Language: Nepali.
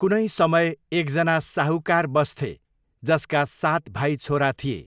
कुनै समय एकजना साहुकार बस्थे जसका सात भाइ छोरा थिए।